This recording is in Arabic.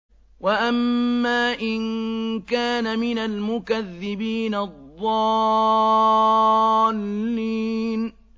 وَأَمَّا إِن كَانَ مِنَ الْمُكَذِّبِينَ الضَّالِّينَ